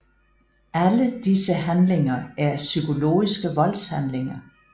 Alle disse handlinger er psykologiske voldshandlinger